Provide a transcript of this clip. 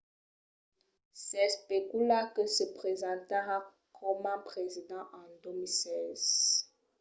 s’especula que se presentarà coma president en 2016